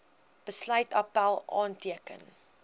besluit appèl aanteken